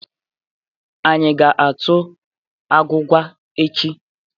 Anyị ga-atụ agwụgwa echi?